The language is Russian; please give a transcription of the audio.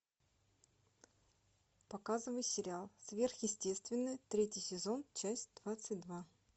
показывай сериал сверхъестественное третий сезон часть двадцать два